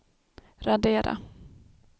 radera